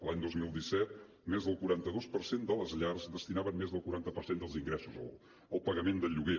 l’any dos mil disset més del quaranta dos per cent de les llars destinaven més del quaranta per cent dels ingressos al pagament del lloguer